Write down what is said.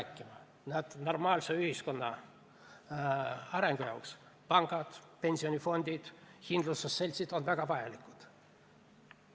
Ühiskonna normaalse arengu seisukohalt on pangad, pensionifondid ja kindlustusseltsid väga vajalikud.